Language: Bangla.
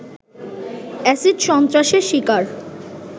এসিড সন্ত্রাসের শিকার